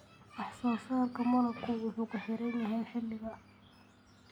Wax soo saarka malabku wuxuu ku xiran yahay xilliga.